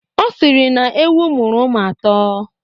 Ọ sịrị na ewu muru ụmụ atọ.